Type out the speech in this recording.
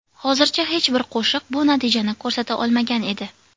Hozircha hech bir qo‘shiq bu natijani ko‘rsata olmagan edi.